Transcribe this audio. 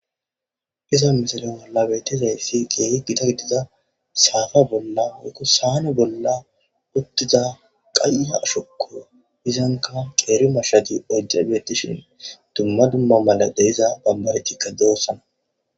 Ha misile bolla beetizaysi, keehi gita gidida saane woyka saafa bolla uttida qaye ashoko Izanika qeeri mashshati oyday beetishe dumma dumma medhoy diza barbaretika doosona